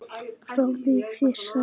Fáðu þér sæti.